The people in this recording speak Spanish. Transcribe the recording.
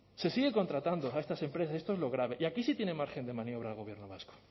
se sigue contratando a estas empresas y esto es lo grave y aquí sí tiene margen de maniobra el gobierno vasco